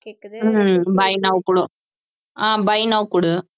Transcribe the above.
ஹம் buy now கொடு ah buy now கொடு